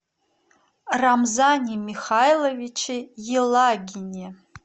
рамзане михайловиче елагине